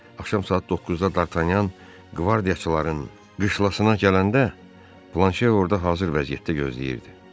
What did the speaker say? Axşam saat 9-da Dartanyan qvardiyaçıların qışlasına gələndə, Planşe orda hazır vəziyyətdə gözləyirdi.